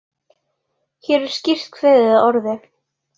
Hér er skýrt kveðið að orði